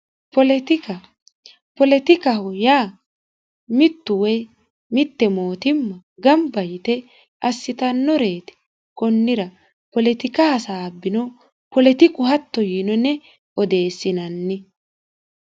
poletika poletikaho yaa mittu woy mitte mootimma gamba yite assitannoreeti kunnira poletika hasaabbino poletiku hatto yiino yine odeessinanni